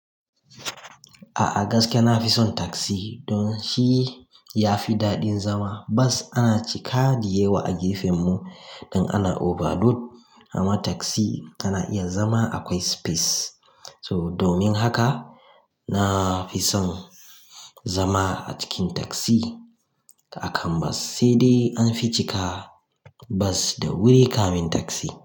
A'a gaskiya na fi son tasi don shi ya fi daɗin zama. Bas ana cika diyewa a gefen mu in ana over load amma tasi ana iya zama akwai space. So domin haka na fi son zama a cikin tasi akan bas, sai dai an fi cika bas da wuri kamin tasi.